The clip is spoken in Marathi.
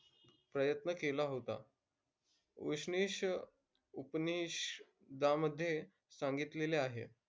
प्रयत्न केला होता. उसनिश उपनिषदामध्ये सांगितलेले आहे.